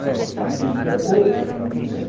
A manhã inteira ou a tarde inteira.